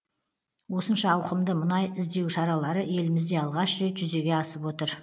осынша ауқымды мұнай іздеу шаралары елімізде алғаш рет жүзеге асып отыр